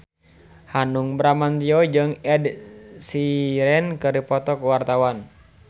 Hanung Bramantyo jeung Ed Sheeran keur dipoto ku wartawan